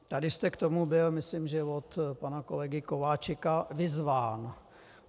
Tady jste k tomu byl, myslím, že od pana kolegy Kováčika, vyzván.